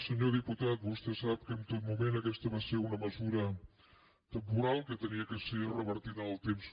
senyor diputat vostè sap que en tot moment aquesta va ser una mesura temporal que havia de ser revertida en el temps